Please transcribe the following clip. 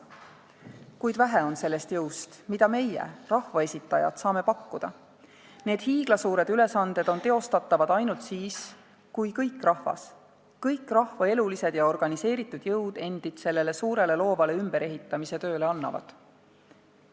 Kuid vähe on sellest jõust, mida meie rahvaesitajad, saame pakkuda; need hiiglasuured ülesanded on teostatavad ainult siis, kui kõik rahvas, kõik rahva elulised ja organiseeritud jõud endid sellele suurele loovale ümberehitamise tööle annavad.